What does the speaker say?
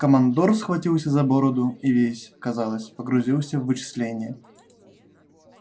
командор схватился за бороду и весь казалось погрузился в вычисления